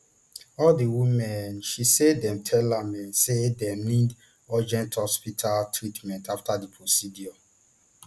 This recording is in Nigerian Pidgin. all di women um she say dem tell am um say dem need urgent hospital treatment afta di procedure